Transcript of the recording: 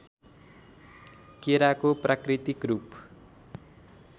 केराको प्राकृतिक रूप